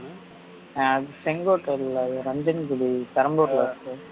அஹ் அது செங்கோட்டை இல்ல அது ரஞ்சங்குடி பெரம்பூர்ல இருக்கு